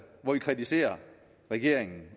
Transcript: hvor vi kritiserer regeringen